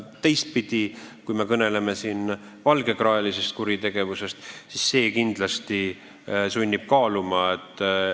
Teistpidi, kui me kõneleme nn valgekraelisest kuritegevusest, siis see 20 aastat kindlasti sunnib oma tegusid kaaluma.